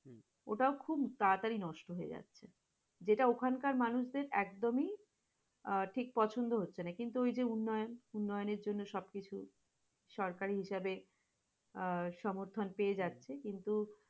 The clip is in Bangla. ওটা খুব তাড়াতাড়ি নষ্ট হয়ে যায়, যেটা ওখানকার মানুষদের একদমই আহ ঠিক পছন্দ হচ্ছেনা কিন্তু ওই যে উন্নয়ন, উন্নয়নের জন্য সবকিছু সরকারি হিসাবে সংস্থান পেয়ে যাচ্ছে কিন্তু,